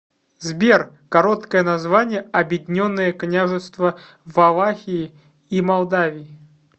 сбер короткое название объединенное княжество валахии и молдавии